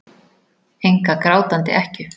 Enga grátandi ekkju.